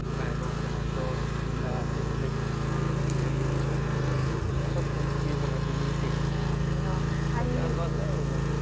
ବାଇଗଣ ,ଟମାଟର, ମୂଳା ଏ ସବୁ ମାନେ ଏଇ ମାସର ଫୁଲ କୋବି , ବନ୍ଧା କୋବି ନାଇଁ ଏଇ ମାସରେ ଚାଷ ହଉଛେ ଆଉ ନାଇଁ